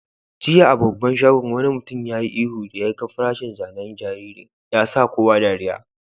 Jiya a babban shagon, wani mutum ya yi ihu da ya gan farashin zanen jariri. Ya sa kowa dariyya.